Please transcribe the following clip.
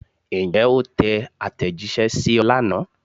Ǹjẹ́ o tẹ àtẹ̀jíṣẹ́ sí ọ lánàá?